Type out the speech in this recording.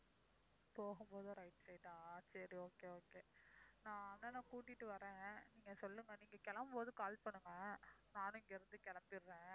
போகும்போது right side ஆ சரி okay okay. நான் அண்ணனைக் கூட்டிட்டு வர்றேன், நீங்கச் சொல்லுங்க, நீங்கக் கிளம்பும்போது call பண்ணுங்க, நானும் இங்க இருந்து கிளம்பிடறேன்.